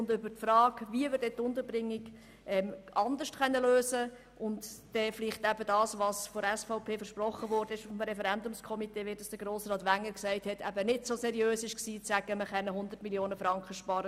Und wie Grossrat Wenger gesagt hat, war es nicht seriös vom Referendumskomitee, zu versprechen, man könne 105 Mio. Franken sparen.